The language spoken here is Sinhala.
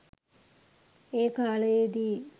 ඒ කාලයේදී